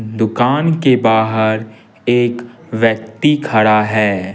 दुकान के बाहर एक व्यक्ति खड़ा है।